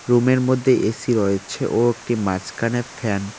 রুমের -এর মধ্যে এ_সি রয়েছে ও একটি মাঝখানে ফ্যান ।